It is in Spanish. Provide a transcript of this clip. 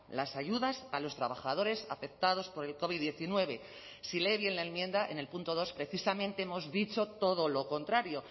las ayudas a los trabajadores afectados por el covid diecinueve si lee bien la enmienda en el punto dos precisamente hemos dicho todo lo contrario